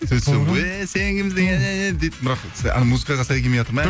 сөйтсем эй сен кімсің дейді музыкаға сай келмейатыр ма ән